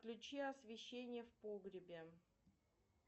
включи освещение в погребе